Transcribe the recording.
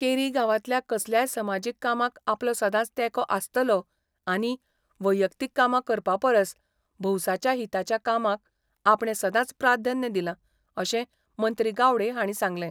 केरी गांवांतल्या कसल्याय समाजीक कामांक आपलो सदांच तेंको आसतलो आनी वैयक्तीक कामां करपा परस भौसाच्या हिताच्या कामांक आपणे सदांच प्राधान्य दिलां अशें मंत्री गावडे हांणी सांगलें.